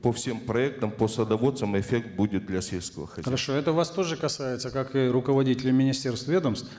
по всем проектам по садоводствам эффект будет для сельского хозяйства хорошо это вас тоже касается как и руководителей министерств и ведомств